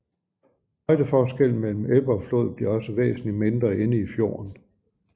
Højdeforskellen mellem ebbe og flod bliver også væsentlig mindre inde i fjorden